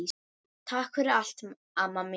Takk fyrir allt, amma mín.